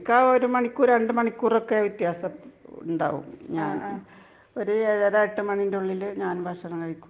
ഇക്ക ഒരു മണിക്കൂർ ,രണ്ടു മണിക്കൂർ ഒക്കെ വ്യത്യാസം ഉണ്ടാവും .ഞാനും ഒരു ഏഴു അര എട്ടു ആരാൻറെ ഉള്ളിൽ ഭക്ഷണം കഴിക്കും .